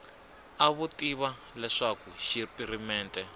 a vo tiva leswaku xipirimente